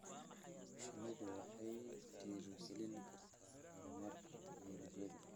Shinnidu waxay dhiirigelin kartaa horumarka tignoolajiyada.